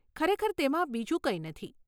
ખરેખર તેમાં બીજું કંઈ નથી.